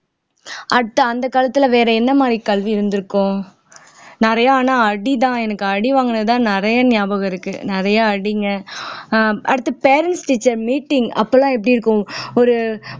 அடுத்து அந்த காலத்துல வேற என்ன மாதிரி கல்வி இருந்திருக்கும் நிறைய ஆனா அடிதான் எனக்கு அடி வாங்கினதுதான் நிறைய ஞாபகம் இருக்கு நிறைய அடிங்க ஆஹ் அடுத்து parents teacher meeting அப்பெல்லாம் எப்படி இருக்கும் ஒரு